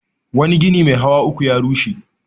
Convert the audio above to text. Wani gini mai hawa uku ya rushe.